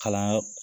Kalanyɔrɔ